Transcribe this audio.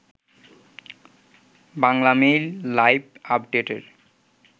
Banglamail live আপডেটের